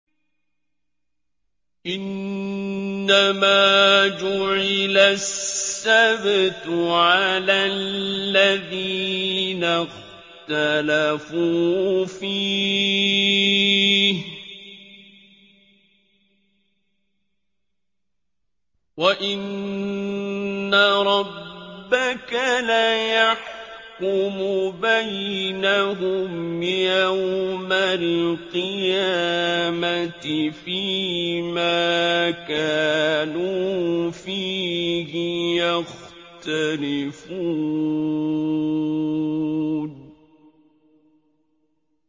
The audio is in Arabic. إِنَّمَا جُعِلَ السَّبْتُ عَلَى الَّذِينَ اخْتَلَفُوا فِيهِ ۚ وَإِنَّ رَبَّكَ لَيَحْكُمُ بَيْنَهُمْ يَوْمَ الْقِيَامَةِ فِيمَا كَانُوا فِيهِ يَخْتَلِفُونَ